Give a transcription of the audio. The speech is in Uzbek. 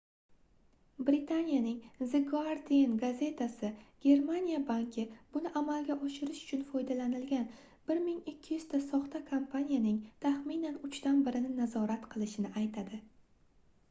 britaniyaning the guardian gazetasi germaniya banki buni amalga oshirish uchun foydalanilgan 1200 ta soxta kompaniyaning taxminan uchdan birini nazorat qilishini aytadi